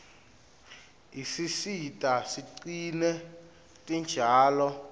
isisita sigcine tinjalo